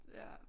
Ja